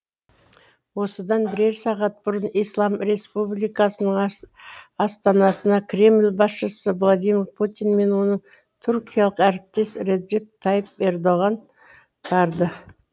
осыдан бірер сағат бұрын ислам республикасының астанасына кремль басшысы владимир путин мен оның түркиялық әріптесі реджеп тайып ердоған барды